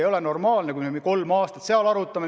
Ei ole normaalne, kui me neid asju kolm aastat arutame.